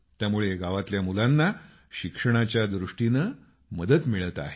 त्यामुळे गावातल्या मुलांना शिक्षणाच्या दृष्टीनं मदत मिळत आहे